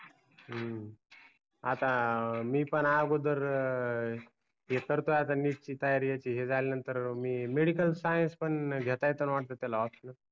हम्म आता मी पण अगोदर हे करतोय आता neet ची तयारी हे झाल्या नंतर मी medical science पण घेता येताना वाटत त्याला optional